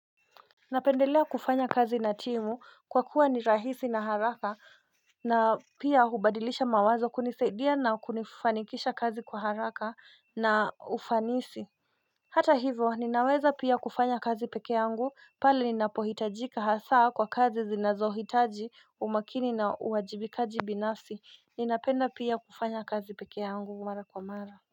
Napendelea kufanya kazi na timu kwa kuwa ni rahisi na haraka na pia hubadilisha mawazo kunisaidia na kunifanikisha kazi kwa haraka na ufanisi Hata hivo ninaweza pia kufanya kazi pekee yangu pale ninapohitajika hasaa kwa kazi zinazohitaji umakini na uwajibikaji binafsi ninapenda pia kufanya kazi pekee yangu mara kwa mara.